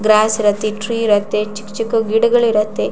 Gross ಇರತ್ತೆ tree ಇರತ್ತೆ ಚಿಕ್ ಚಿಕ್ಕು ಗಿಡಗಳ್ ಇರತ್ತೆ.